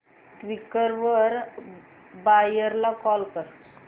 Quikr वर buyer ला call कर